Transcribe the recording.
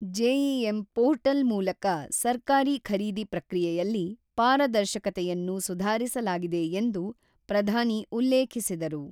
GeM portal ಮೂಲಕ ಸರ್ಕಾರಿ ಖರೀದಿ ಪ್ರಕ್ರಿಯೆಯಲ್ಲಿ ಪಾರದರ್ಶಕತೆಯನ್ನು ಸುಧಾರಿಸಲಾಗಿದೆ ಎಂದು ಪ್ರಧಾನಿ ಉಲ್ಲೇಖಿಸಿದರು.